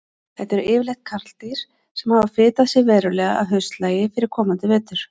Þetta eru yfirleitt karldýr sem hafa fitað sig verulega að haustlagi fyrir komandi vetur.